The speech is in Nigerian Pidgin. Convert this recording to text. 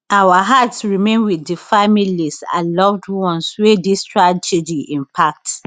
our hearts remain wit di families and loved ones wey dis tragedy impact